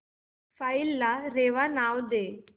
file ला रेवा नाव दे